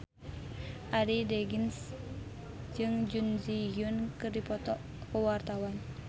Arie Daginks jeung Jun Ji Hyun keur dipoto ku wartawan